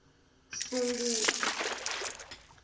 sunguti